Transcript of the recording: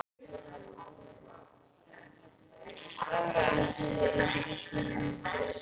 Er þetta ekki tímanna tákn?